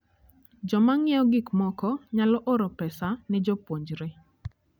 Joma ng'iewo gik moko nyalo oro pesa ne jopuonjre.